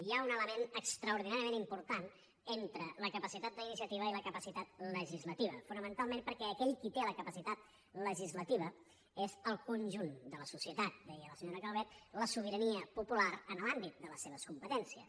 hi ha un element extraordinàriament important entre la capacitat d’iniciativa i la capacitat legislativa fonamentalment perquè aquell qui té la capacitat legislativa és el conjunt de la societat deia la senyora calvet la sobirania popular en l’àmbit de les seves competències